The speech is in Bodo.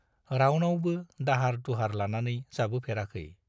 रावनावबो दाहार-दुहार लानानै जाबोफेराखै।